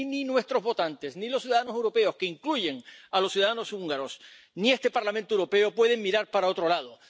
Y ni nuestros votantes, ni los ciudadanos europeos —que incluyen a los ciudadanos húngaros—, ni este Parlamento Europeo pueden mirar para otro lado.